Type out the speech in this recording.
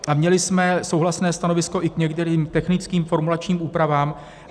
A měli jsme souhlasné stanovisko i k některým technickým formulačním úpravám.